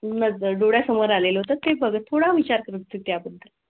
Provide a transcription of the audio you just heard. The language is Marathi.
नजर डोळ्यां समोर आलेले होते बघा थोडा विचार करून त्या बद्दल तुम्ही.